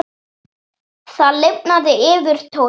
Það lifnaði yfir Tóta.